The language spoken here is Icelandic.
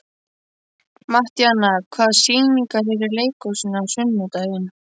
Mattíana, hvaða sýningar eru í leikhúsinu á sunnudaginn?